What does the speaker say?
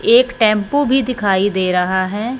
एक टैंपो भी दिखाई दे रहा है।